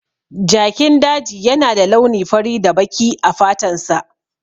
Jakin daji yana da launi fari da baki a fatansa.